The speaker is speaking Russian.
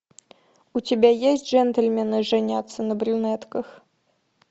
у тебя есть джентльмены женятся на брюнетках